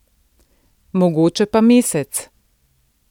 Mogoče pa mesec.